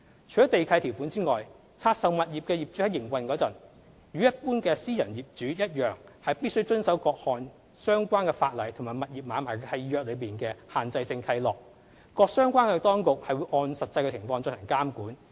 除了地契條款之外，拆售物業的業主在營運時，與一般私人業主一樣必須遵守各項相關法例及物業買賣契約內的限制性契諾，各相關當局會按實際情況進行監管。